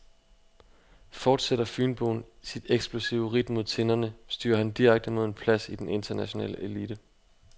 Fortsætter fynboen sit eksplosive ridt mod tinderne, styrer han direkte mod en plads i den internationale elite.